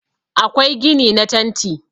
akwai gini na tanti